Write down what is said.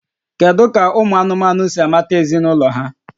Kedu ka ụmụ anụmanụ si amata ezinụlọ ha?